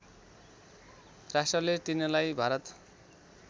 राष्ट्रले तिनलाई भारत